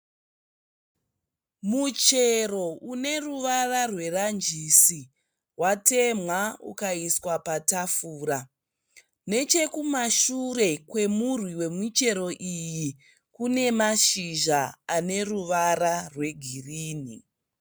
Muchero une ruvara rweranjisi, watemwa ukaiswa patafura. Nechekumashure kwemurwi wemuchero iyi kune mashizha ane ruvara rwegirini.